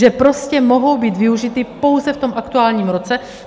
Že prostě mohou být využity pouze v tom aktuálním roce.